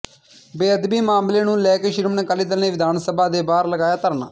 ਬੇਅਦਬੀ ਮਾਮਲੇ ਨੂੰ ਲੈ ਕੇ ਸ਼੍ਰੋਮਣੀ ਅਕਾਲੀ ਦਲ ਨੇ ਵਿਧਾਨ ਸਭਾ ਦੇ ਬਾਹਰ ਲਗਾਇਆ ਧਰਨਾ